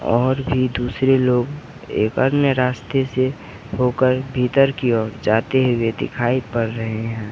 और भी दूसरे लोग एक अन्य रास्ते से होकर भीतर की ओर जाते हुए दिखाई पड़ रहे है।